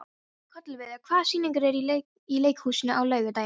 Kolviður, hvaða sýningar eru í leikhúsinu á laugardaginn?